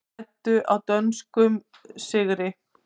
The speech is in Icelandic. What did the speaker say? Græddu á dönskum sigri